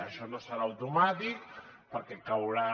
això no serà automàtic perquè caldrà